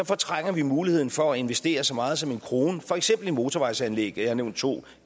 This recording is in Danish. fortrænger vi muligheden for at investere så meget som en krone for eksempel i motorvejsanlæg og jeg har nævnt to